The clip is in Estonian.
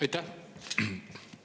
Aitäh!